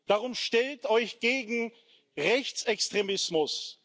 Darum stellt euch gegen Rechtsextremismus!